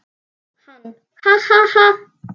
Hann: Ha ha ha.